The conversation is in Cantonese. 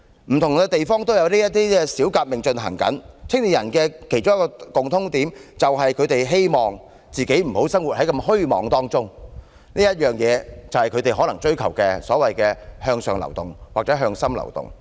不同地方也有這些小革命正在進行，年輕人的其中一個共通點，是他們希望自己不再生活在虛妄當中，這可能便是他們所追求的向上流動或向心流動。